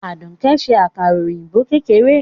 Aduke ń se àkàrà òyìnbó kéékèèké.